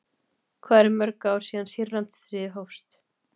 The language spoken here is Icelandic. Hvað eru mörg ár síðan Sýrlandsstríðið hófst?